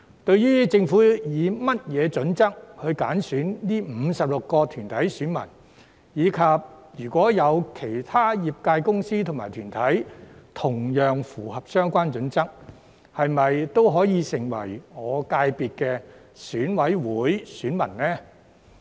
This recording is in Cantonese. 對於政府以甚麼準則挑選這56個團體的選民，以及如果有其他業界公司和團體同樣符合相關準則，是否也可以成為我界別的選委會選民呢？